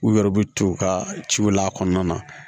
U yɛrɛ bɛ t'u ka ciw la a kɔnɔna na